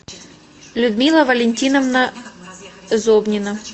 людмила валентиновна зобнина